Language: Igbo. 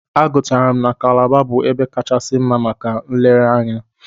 Agụtara m na Kalaba bụ ebe kachasi mma maka nlereanya.